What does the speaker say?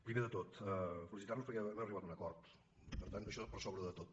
primer de tot felicitarnos perquè hem arribat a un acord i per tant això per sobre de tot